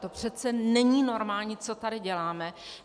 To přece není normální, co tady děláme!